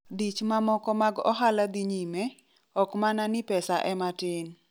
dich mamoko mag ohala dhi nyime , okmana ni pesa ema tin